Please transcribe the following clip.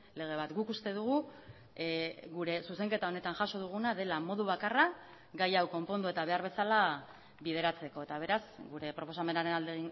lege bat guk uste dugu gure zuzenketa honetan jaso duguna dela modu bakarra gai hau konpondu eta behar bezala bideratzeko eta beraz gure proposamenaren alde